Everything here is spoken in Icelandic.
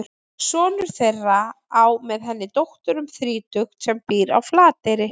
Sonur þeirra á með henni dóttur um þrítugt sem býr á Flateyri.